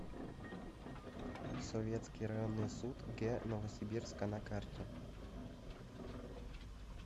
советский районный суд г новосибирска на карте